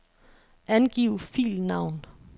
Angiv filnavn.